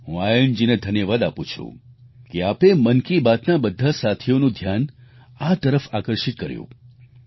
હું આયનજીને ધન્યવાદ આપું છું કે આપે મન કી બાતના બધા સાથીઓનું ધ્યાન આ તરફ આકર્ષિત કર્યું